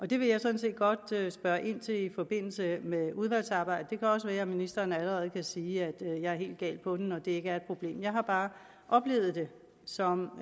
det vil jeg sådan set godt spørge ind til i forbindelse med udvalgsarbejdet det kan også være at ministeren allerede kan sige at jeg er helt galt på den og at det ikke er et problem jeg har bare oplevet det som